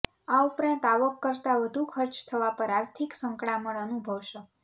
આ ઉપરાંત આવક કરતા વધુ ખર્ચ થવા પર આર્થીક સંકળામણ અનુભવશો